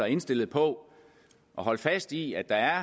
indstillet på at holde fast i at der